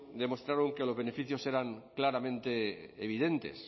demostraron que los beneficios eran claramente evidentes